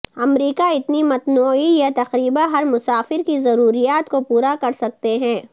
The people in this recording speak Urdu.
امریکہ اتنی متنوع یہ تقریبا ہر مسافر کی ضروریات کو پورا کر سکتے ہیں